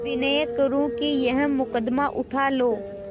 विनय करुँ कि यह मुकदमा उठा लो